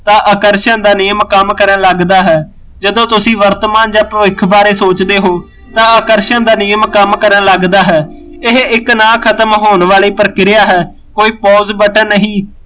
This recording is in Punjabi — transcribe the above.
ਤਾਂ ਆਕਰਸ਼ਣ ਦਾ ਨਿਯਮ ਕੰਮ ਕਰਨ ਲੱਗਦਾ ਹੈ ਜਦੋਂ ਤੁਸੀਂ ਵਰਤਮਾਨ ਜਾ ਭਵਿੱਖ ਬਾਰੇ ਸੋਚਦੇ ਹੋ ਤਾਂ ਆਕਰਸ਼ਣ ਦਾ ਨਿਯਮ ਕੰਮ ਕਰਨ ਲੱਗਦਾ ਹੈ, ਇਹ ਇੱਕ ਨਾ ਖਤਮ ਹੋਣ ਵਾਲੀ ਪਰਿਕ੍ਰਿਆ ਹੈ, ਕੋਈ pause ਬਟਨ ਨਹੀਂ